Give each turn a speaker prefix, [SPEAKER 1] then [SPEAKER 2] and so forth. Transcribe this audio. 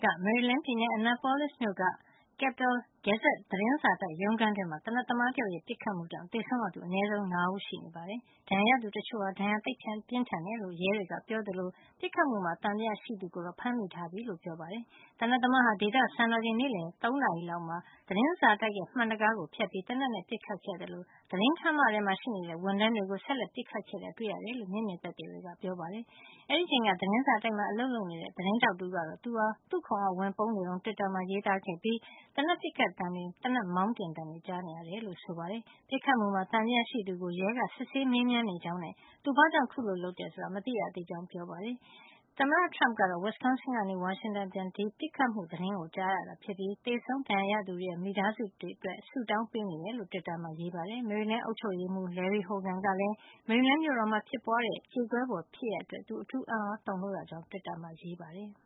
[SPEAKER 1] က မေရီလန်းပြည်နယ်၊ Annapolis မြို့က သတင်းစာတိုက် ရုံးခန်းေတွမှာ သေနတ်သမားတယောက်ရဲ့ ပစ်ခတ်မှုကြောင့် သေဆုံးရသူ အနည်းဆုံး ၅ ဦးရှိနေပါတယ်။ ဒဏ်ရာရသူ တချို့ဟာ ဒဏ်ရာသိပ်ပြင်းထန်တယ်လို့ ရဲတွေက ပြောသလို ပစ်ခတ်မှုမှာ သံသယရှိသူကိုတော့ ဖမ်းမိထားပြီလို့ ပြောပါတယ်။ သေနတ်သမားဟာ ဒေသစံတော်ချိန် နေ့လည် ၃ နာရီအချိန် လောက်မှာ Capital Gazette သတင်းစာတိုက်ရဲ့ မှန်တံခါးကို ဖြတ်ပြီး သေနတ်နဲ့ ပစ်ခတ်ခဲ့သလို သတင်းခန်းမထဲမှာ ရှိနေတဲ့ ဝန်ထမ်းတွေကို ဆက်လက် ပစ်ခတ်ခဲ့တာ တွေ့ရတယ်လို့ မျက်မြင် သက်သေတွေက ပြောပါတယ်။ အဲဒီအချိန်က သတင်းစာတိုက်မှာ အလုပ်လုပ်နေတဲ့ သတင်းထောက် တဦးကတော့ သူဟာ သူ့ခုံအောက်ဝင်ပုန်းနေတုန်း တွစ်တာမှာ ရေးခဲ့ပြီး သေနတ်ပစ်ခတ်သံတွေတွေ သေနတ်မောင်းတင်သံတွေ ကြားနေရတယ်လို့ ဆိုပါတယ်။ ပစ်ခတ်မှုမှာ သံသယရှိသူကို ရဲက စစ်ဆေးမေးမြန်နေကြောင်းနဲ့ သူဘာကြောင့် ခုလို လုပ်တယ်ဆိုတာ မသိရသေးကြောင်း ရဲကပြောပါတယ်။ သမ္မတ Trump ကတော့ Wisconsin ကနေ ဝါရှင်တန် အပြန် ဒီပစ်ခတ်မှု သတင်းကို ကြားရတာဖြစ်ပြီး သေဆုံး ဒဏ်ရာရသူတွေရဲ့ မိသားစု အတွက် ဆုတောင်းပေးနေကြောင်း တွစ်တာက ရေးပါတယ်။ မေရီလန်း အုပ်ချုပ်ရေးမှုး Larry Hogan ကလည်း မေရီလန်းမြို့တော်မှာ ဖြစ်ပွါးတဲ့ ကြေကွဲပွဲဖြစ်ရပ်အတွက် သူအထူး အံ့သြ တုန်လှုပ် ရကြောင်း တွစ်တာမှာ ရေးပါတယ်။